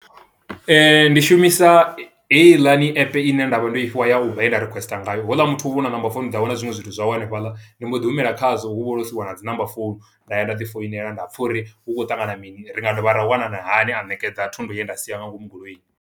Ndi shumisa heiḽani app ine nda vha ndo i fhiwa ya Uber yenda requester ngayo. Ho u ḽa muthu hu vha hu na number founu dzawe, na zwiṅwe zwithu zwawe hanefhaḽa. Ndi mbo ḓi humela khazwo hu vha ho siiwa na dzi number founu. Nda ya nda ḓi foinela, nda pfa uri hu khou ṱangana mini, ri nga dovha ra wanana hani, a ṋekedza thundu ye nda i sia nga ngomu goloini.